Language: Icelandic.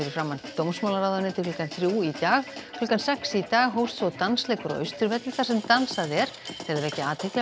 framan dómsmálaráðuneytið klukkan þrjú í dag klukkan sex í dag hófst svo dansleikur á Austurvelli þar sem dansað er til að vekja athygli á